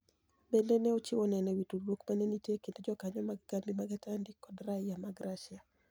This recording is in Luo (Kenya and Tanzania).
Benide ni e ochiwo ni eno e wi tudruok ma ni e niitie e kinid jokaniyo mag kambi mar Atanidi kod raia mag Russia.